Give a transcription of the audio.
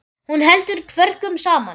Hún heldur kvörkum saman.